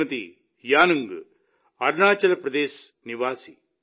శ్రీమతి యానుంగ్ అరుణాచల్ ప్రదేశ్ నివాసి